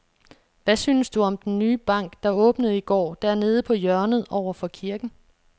Hvad synes du om den nye bank, der åbnede i går dernede på hjørnet over for kirken?